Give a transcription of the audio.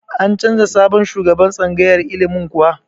An canza sabon shugaban tsangayar ilimin kuwa?